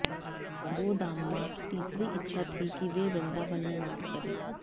गोदाम्मा की तीसरी इच्छा थी कि वे वृन्दावन में वास करें